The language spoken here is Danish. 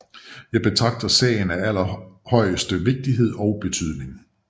Jeg betragter sagen af aller højeste vigtighed og betydning